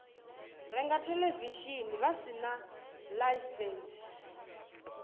renga theḽevishini vha sina ḽaisentsi